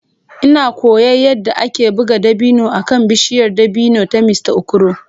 Ina koyon yadda ake buga dabino akan bishiyar dabino ta Mr Okoro.